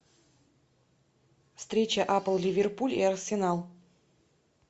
встреча апл ливерпуль и арсенал